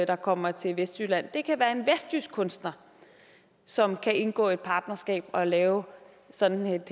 der kommer til vestjylland det kan være en vestjysk kunstner som kan indgå et partnerskab og lave sådan et